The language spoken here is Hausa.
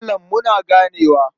Malam muna ganewa.